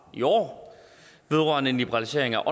i år vedrørende en liberalisering af